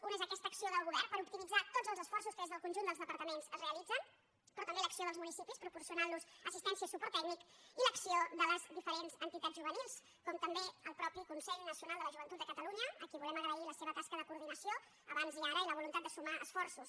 un és aquesta acció del govern per optimitzar tots els esforços que des del conjunt dels departaments es realitzen però també l’acció dels municipis proporcionant los assistència i suport tècnic i l’acció de les diferents entitats juvenils com també el mateix consell nacional de la joventut de catalunya a qui volem agrair la seva tasca de coordinació abans i ara i la voluntat de sumar esforços